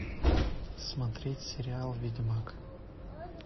смотреть сериал ведьмак